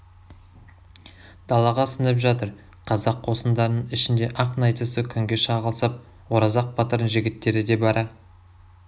далаға сіңіп жатыр қазақ қосындарының ішінде ақ найзасы күнге шағылысып оразақ батырдың жігіттері де бара